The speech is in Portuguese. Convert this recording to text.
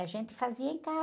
A gente fazia em casa.